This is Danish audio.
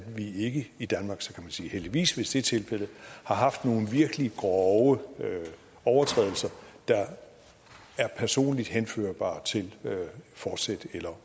vi ikke i danmark og så kan man sige heldigvis hvis det er tilfældet har haft nogle virkelig grove overtrædelser der er personligt henførbare i til forsæt eller